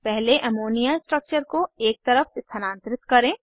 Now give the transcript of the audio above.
पहले ammonia structure को एक तरफ स्थानांतरित करें